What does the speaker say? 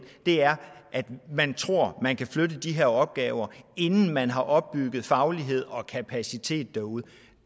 er at man tror at man kan flytte de her opgaver inden man har opbygget faglighed og kapacitet derude